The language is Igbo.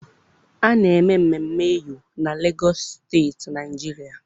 A na-eme mmemme Eyo na Legọs Steeti Naịjiria.